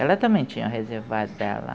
Ela também tinha um reservado dela.